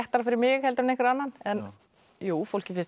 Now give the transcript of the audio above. fyrir mig heldur en einhvern annan jú fólki finnst